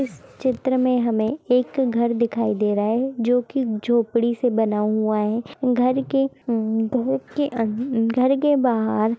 चित्र में हमे एक घर दिखाई दे रहा है जो की झोंपड़ी से बना हुआ है घर के हूं घर के अन घर के बाहर ----